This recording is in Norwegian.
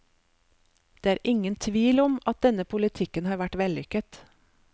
Det er ingen tvil om at denne politikken har vært vellykket.